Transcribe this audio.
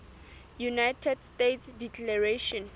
united states declaration